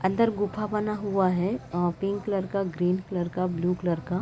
अंदर गुफा बना हुआ है अ पिंक कलर का ग्रीन कलर का ब्लू कलर का --